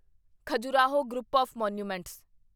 Khajuraho group of monuments